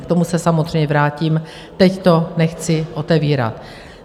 K tomu se samozřejmě vrátím, teď to nechci otevírat.